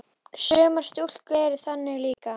Sumar stúlkur eru þannig líka.